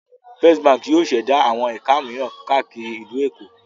First Báńkì yóò ṣẹ̀dá àwọn ẹ̀ka mìíràn káàkiri ìlú Èkó.